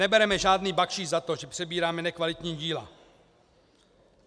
Nebereme žádný bakšiš za to, že přebíráme nekvalitní díla.